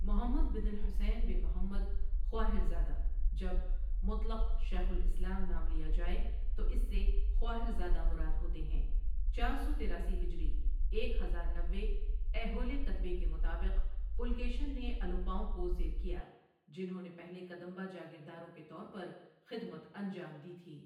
محمد بن الحسين بن محمد خُواہر زاده جب مطلق شیخ الاسلام نام لیا جائے تو اس سے خواہر زادہ مراد ہوتے ہیں چار سو تراسی ہجری ایک ہزار نوے ایہولے کتبے کے مطابق، پُلکیشن نے الوپاؤں کو زیر کیا، جنہوں نے پہلے کدمبا جاگیرداروں کے طور پر خدمت انجام دی تھی۔